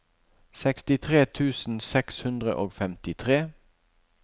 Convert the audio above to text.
sekstitre tusen seks hundre og femtitre